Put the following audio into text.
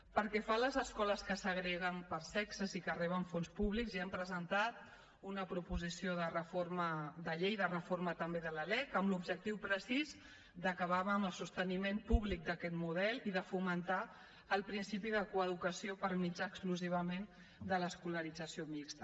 pel que fa a les escoles que segreguen per sexe sí que reben fons públics i hem presentat una proposició de reforma de llei de reforma també de la lec amb l’objectiu precís d’acabar amb el sosteniment públic d’aquest model i de fomentar el principi de coeducació per mitjà exclusivament de l’escolarització mixta